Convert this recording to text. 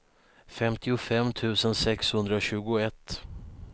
femtiofem tusen sexhundratjugoett